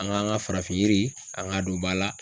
An k'an ka farafin yiri an k'a don ba la.